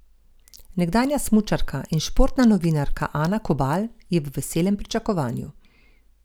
Nekdanja smučarka in športna novinarka Ana Kobal je v veselem pričakovanju.